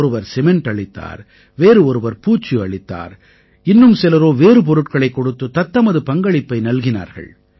ஒருவர் சிமெண்ட் அளித்தார் வேறு ஒருவர் பூச்சு அளித்தார் இன்னும் சிலரோ வேறு பொருட்களைக் கொடுத்து தத்தமது பங்களிப்பை நல்கினார்கள்